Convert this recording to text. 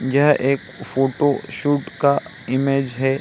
यह एक फोटोशूट का इमेज है।